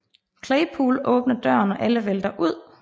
Claypool åbner døren og alle vælter ud